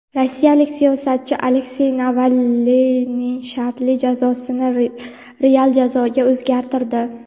rossiyalik siyosatchi Aleksey Navalniyni shartli jazosini real jazoga o‘zgartirdi.